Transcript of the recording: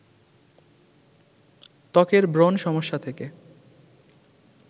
ত্বকের ব্রণ সমস্যা থেকে